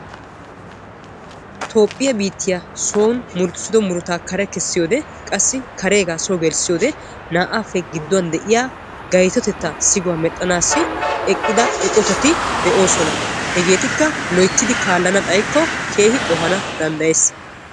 toophphiya biittiya son murutissido murutaa kare kessiyode qassi kareegaa soo gelissiyode naa"aappe gidduwan de"iya sigaa medhdhanaassi eqqida eqotati de'oosona. hegeetikka loyittidi kaallana xayikko keehi qohana danddayes.